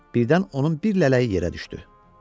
Birdən onun bir lələyi yerə düşdü.